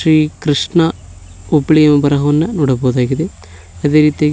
ಶ್ರೀ ಕೃಷ್ಣಾ ಹುಬ್ಳಿಯು ಬರಹವನ್ನ ನೋಡಬೊದಾಗಿದೆ ಅದೆ ರೀತಿಯಾಗಿ--